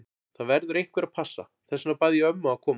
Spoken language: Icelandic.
Það verður einhver að passa, þess vegna bað ég ömmu að koma.